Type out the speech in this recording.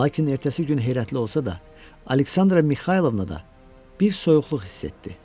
Lakin ertəsi gün heyrətli olsa da, Aleksandra Mixaylovna da bir soyuqluq hiss etdi.